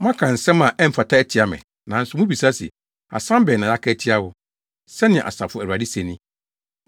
“Moaka nsɛm a ɛmfata atia me, nanso mubisa se, ‘Asɛm bɛn na yɛaka atia wo?’ Sɛnea Asafo Awurade se ni.